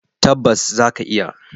Tabbas za ka iya.